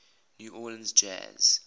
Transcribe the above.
new orleans jazz